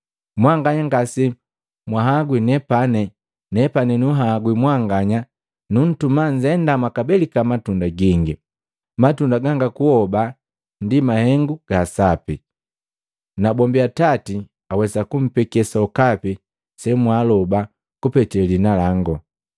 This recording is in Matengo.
Mwanganya ngasemwahaagwi nepani, nepani nunhagwi mwanganya, nuntuma nnzenda mwakaabelika matunda gingi, matunda ganga kuhoba ndi mahengu ga sapi. Nabombi Atati awesa kumpeke sokapi semwaaloba kupete liina langu.